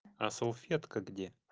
а салфетка где